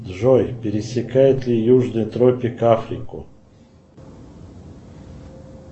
джой пересекает ли южный тропик африку